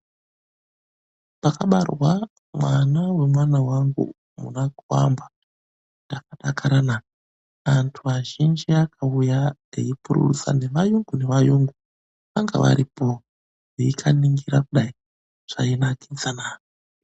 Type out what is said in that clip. Pakabarwa mwana wemwana wangu munaKuamba ndakadakara na!. Antu azhinji akauya eipururudza nevayungu nevayungu vanga varipo veikaningira udai, zvainakidza naa.